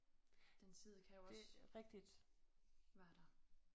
Den side kan jo også være der